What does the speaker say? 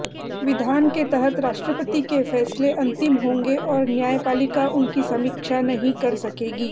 विधान के तहत राष्ट्रपति के फैसले अंतिम होंगे और न्यायपालिका उनकी समीक्षा नहीं कर सकेगी